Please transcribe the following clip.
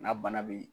N'a bana bɛ yen